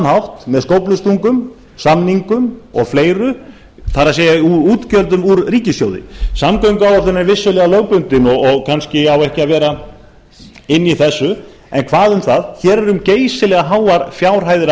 hátt með skóflustungum samningum og fleiru það er útgjöldum úr ríkissjóði samgönguáætlun er vissulega lögbundin og kannski á ekki að vera inni í þessu en hvað um það hér er um geysilega háar fjárhæðir að